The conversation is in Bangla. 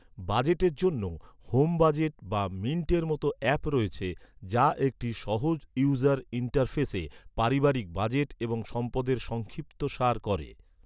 বাজেটের জন্য, হোম বাজেট বা মিন্টের মতো অ্যাপ রয়েছে, যা একটি সহজ ইউজার ইন্টারফেসে, পারিবারিক বাজেট এবং সম্পদের সংক্ষিপ্তসার করে।